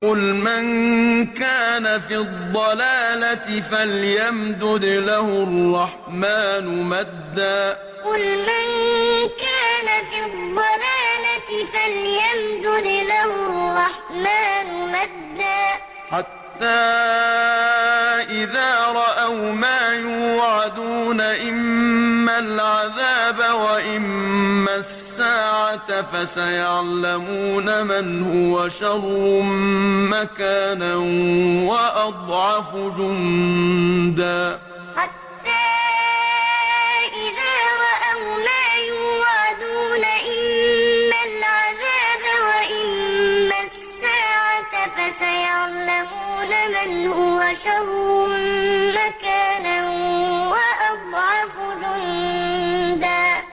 قُلْ مَن كَانَ فِي الضَّلَالَةِ فَلْيَمْدُدْ لَهُ الرَّحْمَٰنُ مَدًّا ۚ حَتَّىٰ إِذَا رَأَوْا مَا يُوعَدُونَ إِمَّا الْعَذَابَ وَإِمَّا السَّاعَةَ فَسَيَعْلَمُونَ مَنْ هُوَ شَرٌّ مَّكَانًا وَأَضْعَفُ جُندًا قُلْ مَن كَانَ فِي الضَّلَالَةِ فَلْيَمْدُدْ لَهُ الرَّحْمَٰنُ مَدًّا ۚ حَتَّىٰ إِذَا رَأَوْا مَا يُوعَدُونَ إِمَّا الْعَذَابَ وَإِمَّا السَّاعَةَ فَسَيَعْلَمُونَ مَنْ هُوَ شَرٌّ مَّكَانًا وَأَضْعَفُ جُندًا